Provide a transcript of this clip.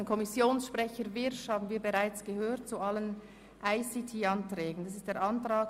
Der Kommissionssprecher, Grossrat Wyrsch, hat sich bereits zu allen ICT-Anträgen geäussert.